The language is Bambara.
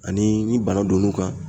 Ani ni bana don n'u kan